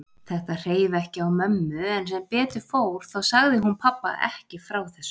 Þetta hreif ekki á mömmu en sem betur fór sagði hún pabba ekki frá þessu.